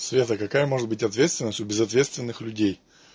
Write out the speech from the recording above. света какая может быть ответственность у безответственных людей